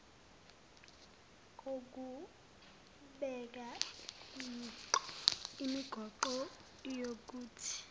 kokubeka imigoqo yokuthi